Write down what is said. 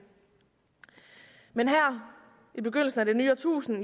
men her i begyndelsen af det nye årtusinde